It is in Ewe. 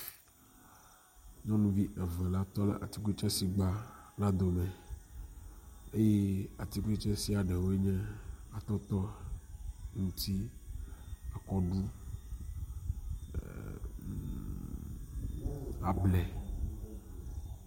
Nyɔnuvi eve la tɔ ɖe atikutsetse si gba la dome eye atikutsetse sia ɖewoe nye atɔtɔ, ŋuti, akɔɖu, able.